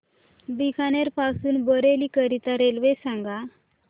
बीकानेर पासून बरेली करीता रेल्वे सांगा